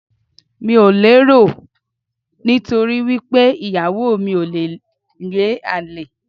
Mi ò le rò ó, nítorí wí pé ìyàwó mi ò le ní àlè.